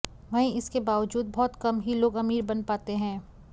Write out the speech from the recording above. वहीं इसके बावजूद बहुत कम ही लोग अमीर बन पाते हैं